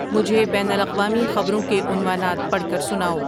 مجھے بین الاقوامی خبروں کے عنوانات پڑھ کر سناؤ